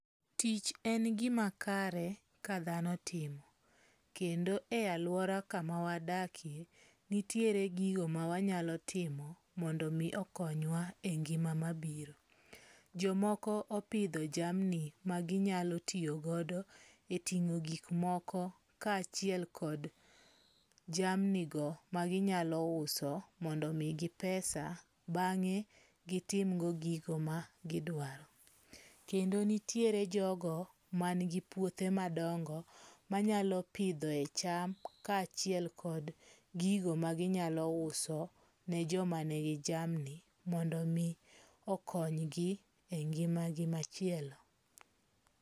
Tich en gima kare ka dhano timo, kendo e alwora kama wadake, nitiere gigo ma wanyalo timo mondo mi okonywa e ngima mabiro. Jomoko opidho jamni ma ginyalo tiyogodo e ting'o gikmoko kaachiel kod jamni go ma ginyalo uso mondo migi pesa bang'e gitimgo gigo ma gidwaro. Kendo nitiere jogo ma nigi puothe madongo, manyalo pidhoe cham kaachiel kod gigo ma ginyalo uso ne joma nigi jamni mondo mi okonygi e ngima gi machielo.